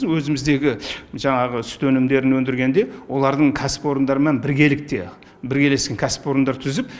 өзіміздегі жаңағы сүт өнімдерін өндіргенде олардың кәсіпорындарынан біргелікте біргелесін кәсіпорындар түзіп